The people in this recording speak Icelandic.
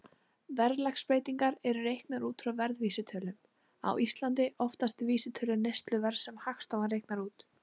Verðlagsbreytingar eru reiknaðar út frá verðvísitölum, á Íslandi oftast vísitölu neysluverðs sem Hagstofan reiknar út.